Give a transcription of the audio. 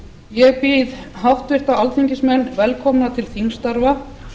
ég býð háttvirta alþingismenn velkomna til þingstarfa